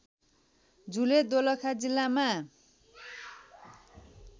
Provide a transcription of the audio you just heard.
झुले दोलखा जिल्लामा